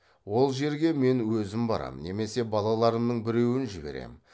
ол жерге мен өзім барамын немесе балаларымның біреуін жіберемін